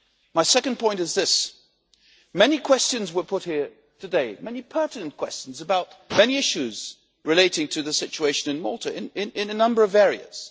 My second point is this. Many questions were put here today, many pertinent questions about many issues relating to the situation in Malta in a number of areas.